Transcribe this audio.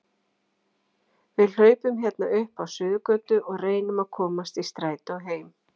Við hlaupum hérna upp á Suðurgötu og reynum að komast í strætó heim